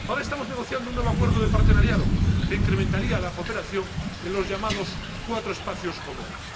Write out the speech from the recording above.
Ahora estamos negociando un nuevo acuerdo de partenariado, que incrementaría la cooperación en los llamados cuatro espacios comunes.